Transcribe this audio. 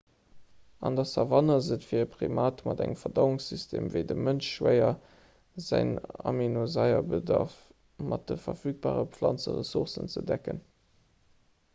an der savann ass et fir e primat mat engem verdauungssystem ewéi deem vum mënsch schwéier säin aminosaierbedarf mat de verfügbare planzeressourcen ze decken